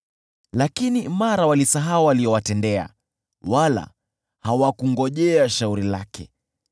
Lakini mara walisahau aliyowatendea, wala hawakungojea shauri lake.